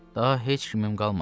Daha heç kimim qalmadı.